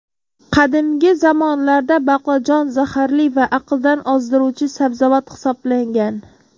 Qadimgi zamonlarda baqlajon zaharli va aqldan ozdiruvchi sabzavot hisoblangan.